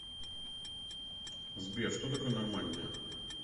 сбер что такое нормандия